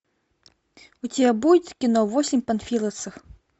у тебя будет кино восемь панфиловцев